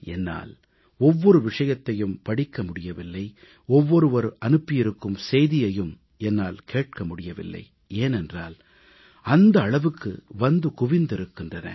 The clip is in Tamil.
என்னால் ஒவ்வொரு விஷயத்தையும் படிக்க முடியவில்லை ஒவ்வொருவர் அனுப்பியிருக்கும் செய்தியையும் என்னால் கேட்க முடியவில்லை ஏனென்றால் அந்த அளவுக்கு வந்து குவிந்திருக்கிறன